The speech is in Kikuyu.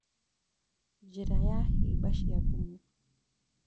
Njĩra ya hĩba cia thumu